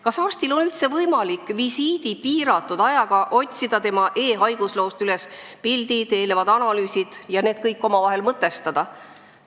Kas arstil on üldse võimalik visiidi piiratud aja jooksul otsida e-haigusloost üles pildid, eelnevad analüüsid ja need kõik omavahel mõtestada?